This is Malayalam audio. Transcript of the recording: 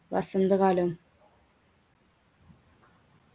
വസന്തകാലം